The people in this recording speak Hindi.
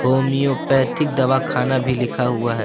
होम्योपैथिक दवा खाना भी लिखा हुआ है।